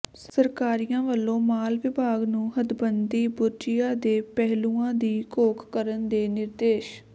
ਸਰਕਾਰੀਆ ਵਲੋਂ ਮਾਲ ਵਿਭਾਗ ਨੂੰ ਹਦਬੰਦੀ ਬੁਰਜੀਆਂ ਦੇ ਪਹਿਲੂਆਂ ਦੀ ਘੋਖ ਕਰਨ ਦੇ ਨਿਰਦੇਸ਼